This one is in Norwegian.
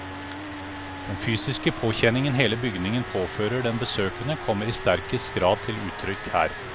Den fysiske påkjenningen hele bygningen påfører den besøkende, kommer i sterkest grad til uttrykk her.